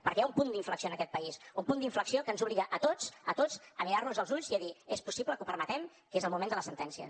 perquè hi ha un punt d’inflexió en aquest país un punt d’inflexió que ens obliga a tots a tots a mirar nos els ulls i a dir és possible que ho permetem que és el moment de les sentències